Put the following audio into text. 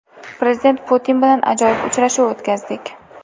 Prezident Putin bilan ajoyib uchrashuv o‘tkazdik.